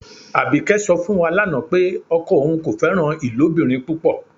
Abíkẹ́ sọ̀ fún wá láńà pé ọkọ ọun kò fẹran ilobìrín púpọ́.